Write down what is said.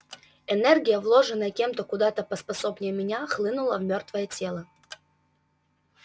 энергия вложенная кем-то куда-то поспособнее меня хлынула в мёртвое тело